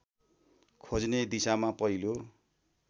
खोज्ने दिशामा पहिलो